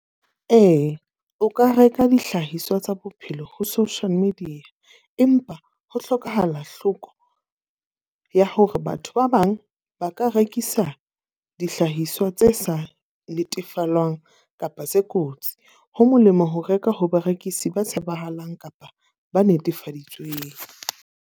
Ee, o ka reka dihlahiswa tsa bophelo ho social media. Empa ho hlokahala hloko ya hore batho ba bang ba ka rekisa sa dihlahiswa tse sa netefalwang kapa tse kotsi. Ho molemo ho reka ho barekisi ba tshepahalang kapa ba netefaditsweng.